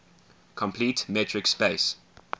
complete metric space